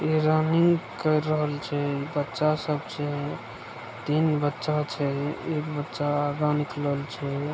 इ रनिंग कर रहल छे बच्चा सब छे तीन बच्चा छे एक बच्चा आगे निकलल छे।